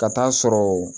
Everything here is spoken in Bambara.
Ka taa'a sɔrɔ